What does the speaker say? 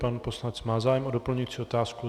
Pan poslanec má zájem o doplňující otázku.